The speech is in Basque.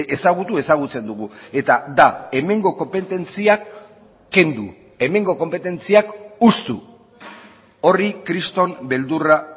ezagutu ezagutzen dugu eta da hemengo konpetentziak kendu hemengo konpetentziak hustu horri kriston beldurra